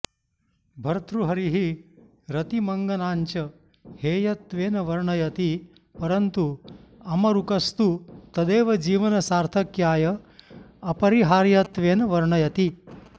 भर्तृहरिः रतिमङ्गनाञ्च हेयत्वेन वर्णयति परन्तु अमरुकस्तु तदेव जीवनसार्थक्याय अपरिहार्यत्वेन वर्णयति